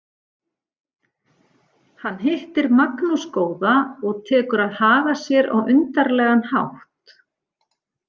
Hann hittir Magnús góða og tekur að haga sér á undarlegan hátt.